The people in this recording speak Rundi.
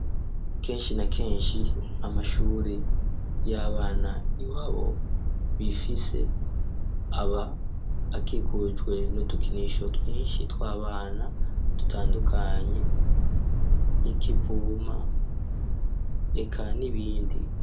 Kenshi na kenshi amashure y'abana iwabo bifise aba akikujwe n'udukinisho twinshi tw'abana dutandukanye nikivuma eka n'ibindi.